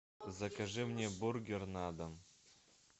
закажи мне бургер на дом